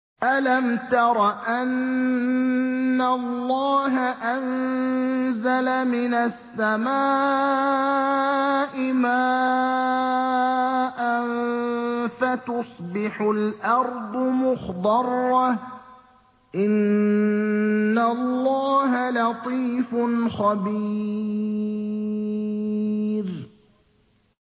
أَلَمْ تَرَ أَنَّ اللَّهَ أَنزَلَ مِنَ السَّمَاءِ مَاءً فَتُصْبِحُ الْأَرْضُ مُخْضَرَّةً ۗ إِنَّ اللَّهَ لَطِيفٌ خَبِيرٌ